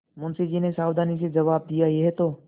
मुंशी जी ने सावधानी से जवाब दियायह तो